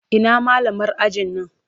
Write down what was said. Ina malamar ajin nan?